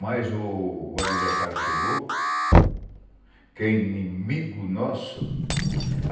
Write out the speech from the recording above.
Mas o adversário chegou, que é inimigo nosso.